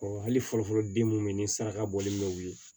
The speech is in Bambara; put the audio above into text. hali fɔlɔfɔlɔ den mun be ye ni saraka bɔli mɛ u ye